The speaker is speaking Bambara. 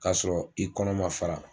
Ka sɔrɔ i kɔnɔ man fara.